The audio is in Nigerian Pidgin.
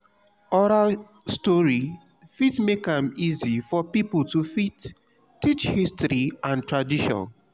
oral story fit make am easy for pipo to fit teach history and tradition